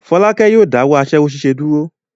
Fọ́lákẹ́ yóò dáwọ́ aṣẹ́wó ṣíṣe dúró.